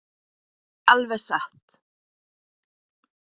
Alveg satt.